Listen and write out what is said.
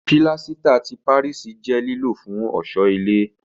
Pílásítà ti Páríìsì jẹ́ lílò fún ọ̀ṣọ́ ilé